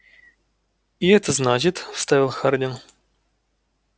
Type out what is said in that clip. и это значит вставил хардин